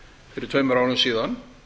fyrir tveimur árum síðan